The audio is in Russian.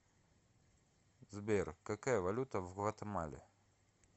сбер какая валюта в гватемале